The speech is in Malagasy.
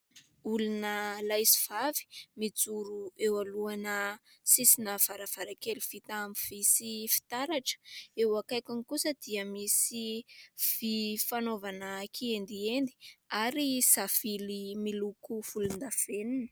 Olona lahy sy vavy mijoro eo anoloana sisina varavarankely vita amin'ny vy sy fitaratra, eo akaikiny kosa dia misy vy fanaovana kiendiendy ary savily miloko volon-davenona.